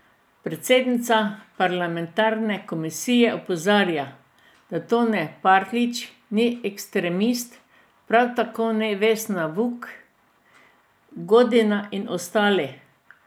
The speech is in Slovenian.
Predsednica parlamentarne komisije opozarja, da Tone Partljič ni esktremist, prav tako ne Vesna Vuk Godina in ostali.